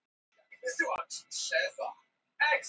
Hvort þau ættu aðra mynd eftir Lúnu en þessa af rauðu kúlunum?